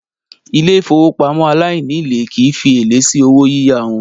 Ilé ìfowópamọ́ aláìnílèé kìí fi èlé sí owó yíyá wọn.